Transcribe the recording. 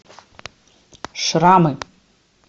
шрамы